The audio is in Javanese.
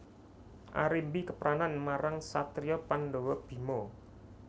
Arimbi kepranan marang satriya Pandhawa Bima